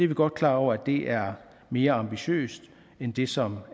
vi godt klar over er mere ambitiøst end det som